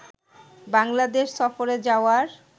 বাংলাদেশ সফরে যাওয়ার